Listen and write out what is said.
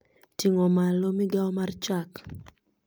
Ting'o malo migao mar chak